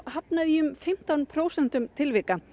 hafnað í um fimmtán prósentum tilvika